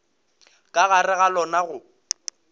ka gare ga lona go